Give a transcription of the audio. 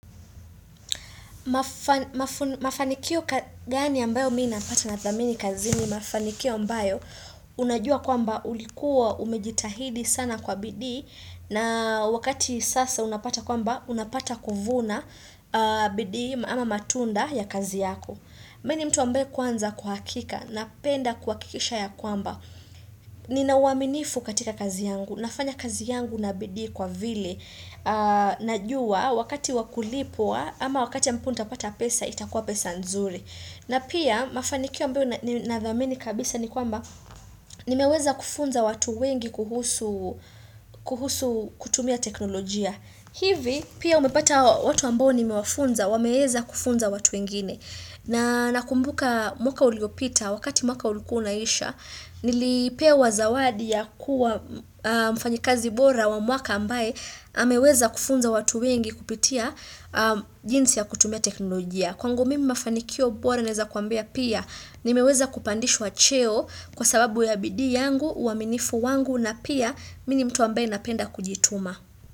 Mafanikio gani ambayo mimi napata na thamini kazini ni mafanikio ambayo Unajua kwamba ulikuwa umejitahidi sana kwa bidii na wakati sasa unapata kwamba unapata kuvuna aah bidii ama matunda ya kazi yako mimi ni mtu ambaye kwanza kwa hakika napenda kuhakikisha ya kwamba Ninauaminifu katika kazi yangu, nafanya kazi yangu na bidii kwa vile Najua wakati wakulipwa ama wakati ya ambapo nitapata pesa itakuwa pesa nzuri na pia mafanikio ambayo ninadhamini kabisa ni kwamba nimeweza kufunza watu wengi kuhusu kuhusu kutumia teknolojia hivi pia umepata watu ambo nimewafunza wameweza kufunza watu wengine na nakumbuka mwaka uliopita Wakati mwaka ulikua unaisha Nilipewa zawadi ya kuwa aah mfanyikazi bora wa mwaka ambaye ameweza kufunza watu wengi kupitia aah jinsi ya kutumia teknolojia.kwangu mimi mafanikio bora naweza kuambia pia nimeweza kupandishwa cheo kwa sababu ya bidii yangu uaminifu wangu na pia mimi ni mtu ambaye napenda kujituma.